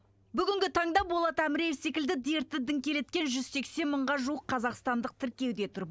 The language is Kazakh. бүгінгі таңда болат амреев секілді дерті діңкелеткен жүз сексен мыңға жуық қазақстандық тіркеуде тұр